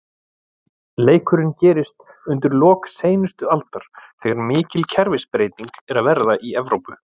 Leikurinn gerist undir lok seinustu aldar, þegar mikil kerfisbreyting er að verða í Evrópu.